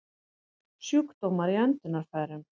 Sjúkdómar í öndunarfærum